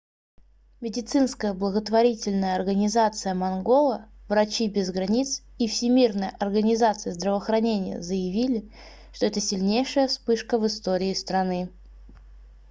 медицинская благотворительная организация мангола врачи без границ и всемирная организация здравоохранения заявили что это сильнейшая вспышка в истории страны